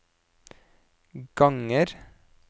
ganger